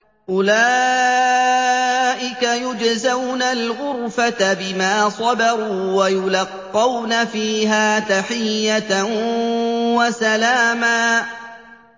أُولَٰئِكَ يُجْزَوْنَ الْغُرْفَةَ بِمَا صَبَرُوا وَيُلَقَّوْنَ فِيهَا تَحِيَّةً وَسَلَامًا